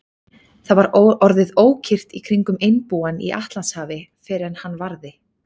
Það var orðið ókyrrt í kringum einbúann í Atlantshafi, fyrr en hann varði.